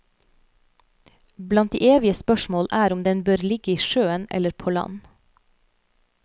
Blant de evige spørsmål er om den bør ligge i sjøen eller på land.